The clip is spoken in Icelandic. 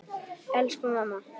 Elsku mamma!